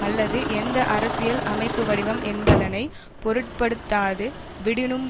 அல்லது எந்த அரசியல் அமைப்புவடிவம் என்பதனை பொருட்படுத்தாது விடினும்